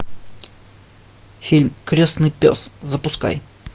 фильм крестный пес запускай